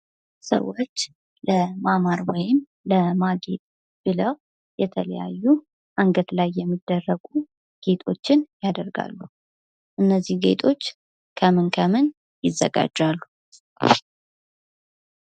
ሰዎች ለማማራ ወይም ለማጌጥ ብለው የተለያዩ አንገት ላይ የሚደረጉ ጌጦችን ያደርጋሉ። እነዚህ ጌጦች ከምን ከምን ይዘጋጃሉ?